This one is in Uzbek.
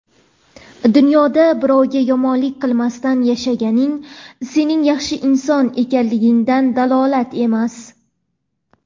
Dunyoda birovga yomonlik qilmasdan yashaganing sening yaxshi inson ekanligingdan dalolat emas.